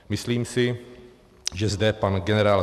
Myslím si, že zde pan generál